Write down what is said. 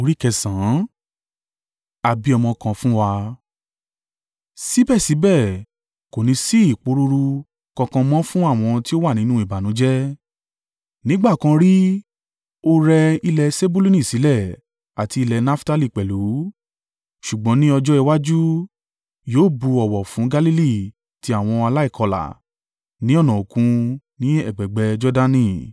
Síbẹ̀síbẹ̀, kò ní sí ìpòrúru kankan mọ́ fún àwọn tí ó wà nínú ìbànújẹ́. Nígbà kan rí ó rẹ ilẹ̀ Sebuluni sílẹ̀ àti ilẹ̀ Naftali pẹ̀lú, ṣùgbọ́n ní ọjọ́ iwájú, yóò bu ọ̀wọ̀ fún Galili ti àwọn aláìkọlà, ní ọ̀nà Òkun, ní ẹ̀gbẹ̀ẹ̀gbẹ́ Jordani.